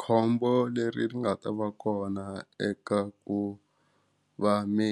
Khombo leri ri nga ta va kona eka ku va mi